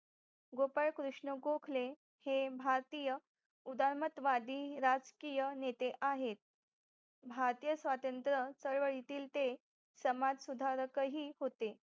गोपाळ कृष्ण गोखले हे भारतीय उदारमत वादी राजकीय नेते आहेत भारतीय स्वातंत्र चळवळीतले ते सामाज सुधारक ही होते